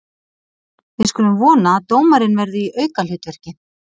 Við skulum vona að dómarinn verði í aukahlutverki.